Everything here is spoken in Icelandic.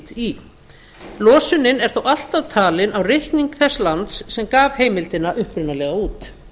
í losunin er þó alltaf talin á reikning þess lands sem gaf heimildina upprunalega út